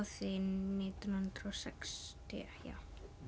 því nítján hundruð og sextíu já